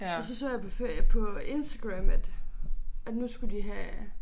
Og så så jeg på på Instagram at at nu skulle de have